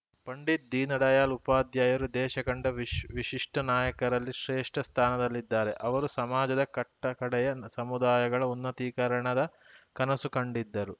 ಪಂಡಿತ್‌ ದೀನ್‌ಡಯಾಳ್‌ ಉಪದ್ಯಾಯರು ದೇಶ ಕಂಡ ವಿಶ್ ವಿಶಿಷ್ಟನಾಯಕರಲ್ಲಿ ಶ್ರೇಷ್ಠಸ್ಥಾನದಲ್ಲಿದ್ದಾರೆ ಅವರು ಸಮಾಜದ ಕಟ್ಟಕಡೆಯ ಸಮುದಾಯಗಳ ಉನ್ನತೀಕರಣದ ಕನಸು ಕಂಡಿದ್ದರು